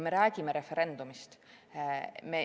Me räägime referendumist.